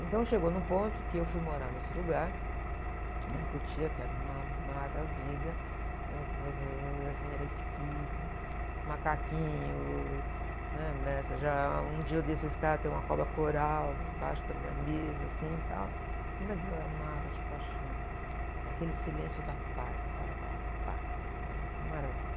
Então, chegou num ponto em que eu fui morar nesse lugar, né? Em Cotia, que era uma maravilha, né? Que meus, assim, era esquilo, macaquinho, né? Nessas, já... Um dia eu desço a escada, tem uma cobra coral embaixo da minha mesa, assim, tal, mas eu amava de paixão, é aquele silêncio da paz, sabe, aquela paz, uma maravilha.